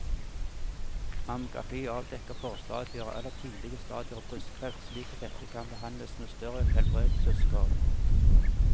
Mammografi avdekker forstadier eller tidlige stadier av brystkreft slik at dette kan behandles med større helbredelsesgrad.